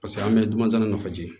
Paseke an bɛ dunan najigin ye